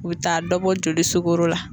U bɛ taa dɔ bɔ joli sugoro la.